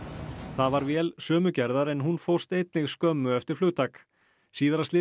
það var vél sömu gerðar en hún fórst einnig skömmu eftir flugtak síðara slysið